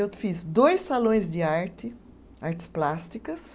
Eu fiz dois salões de arte, artes plásticas,